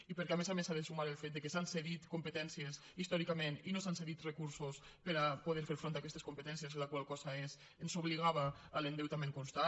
i perquè a més a més s’hi ha de sumar el fet que s’han cedit competències històricament i no s’han cedit recursos per a poder fer front a aquestes competències la qual cosa ens obligava a l’endeutament constant